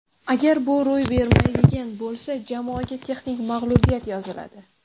Agar bu ro‘y bermaydigan bo‘lsa, jamoaga texnik mag‘lubiyat yoziladi.